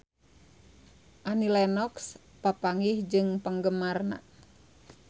Annie Lenox papanggih jeung penggemarna